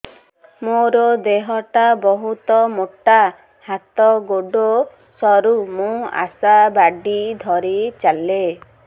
ମୋର ଦେହ ଟା ବହୁତ ମୋଟା ହାତ ଗୋଡ଼ ସରୁ ମୁ ଆଶା ବାଡ଼ି ଧରି ଚାଲେ